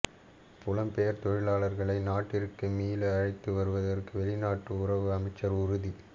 புலம்பெயர் தொழிலாளர்களை நாட்டிற்கு மீள அழைத்து வருவதற்கு வெளிநாட்டு உறவுகள் அமைச்சர் உறுதி